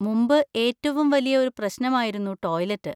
മുമ്പ് ഏറ്റവും വലിയ ഒരു പ്രശ്നമായിരുന്നു ടോയ്‌ലെറ്റ്.